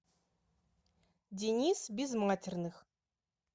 денис безматерных